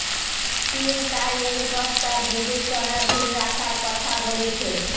চিন তাই এই প্রস্তাব বিবেচনাধীন রাখার কথা বলেছে